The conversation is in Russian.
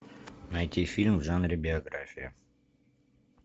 найти фильм в жанре биография